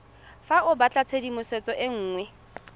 fa o batlatshedimosetso e nngwe